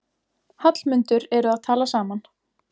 Hallmundur eru að tala saman.